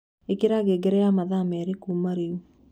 ĩkĩra ngengere ya mathaa merĩ kũma rĩĩu